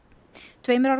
tveimur árum